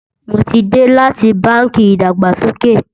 mó tí dé láti bánkì ìdàgbàsókè